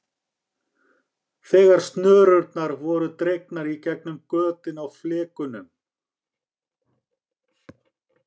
Þegar snörurnar voru dregnar í gegnum götin á flekunum.